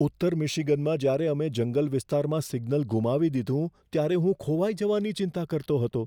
ઉત્તર મિશિગનમાં જ્યારે અમે જંગલ વિસ્તારમાં સિગ્નલ ગુમાવી દીધું, ત્યારે હું ખોવાઈ જવાની ચિંતા કરતો હતો.